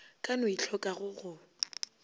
ka no e tlhokago go